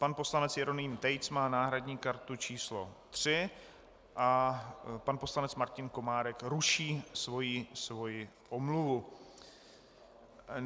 Pan poslanec Jeroným Tejc má náhradní kartu číslo 3 a pan poslanec Martin Komárek ruší svoji omluvu.